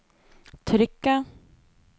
trykket